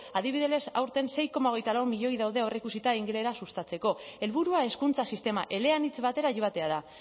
adibidez aurten sei koma lau milioi daude aurreikusita ingelera sustatzeko helburua hezkuntza sistema eleanitz batera joatea da